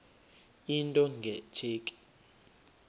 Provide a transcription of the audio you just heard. into nge tsheki